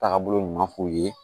Taagabolo ɲuman f'u ye